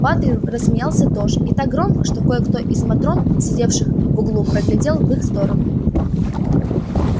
батлер рассмеялся тоже и так громко что кое-кто из матрон сидевших в углу проглядел в их сторону